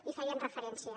hi feien referència